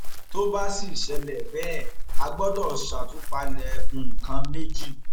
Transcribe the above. tó bá sì ṣẹlẹ bẹẹ á gbọdọ ṣàtúpalẹ nǹkan méjì